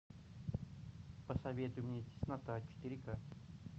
посоветуй мне теснота четыре ка